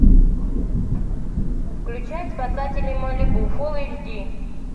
включай спасатели малибу фулл эйч ди